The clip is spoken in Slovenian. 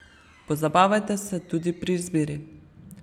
Pozabavajte se tudi pri izbiri.